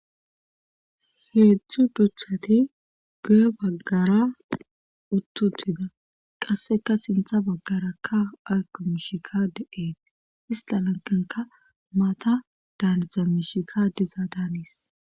Heedzdzu duthati goye baggara uttutida qasseka sintha baggarakka aakmishika de'eet istalankenka maata daaniza mishika diza daanis.